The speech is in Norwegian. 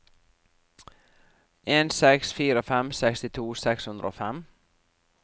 en seks fire fem sekstito seks hundre og fem